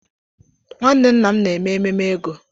Nwanne nna m na-eme ememe ego.